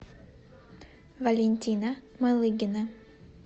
валентина малыгина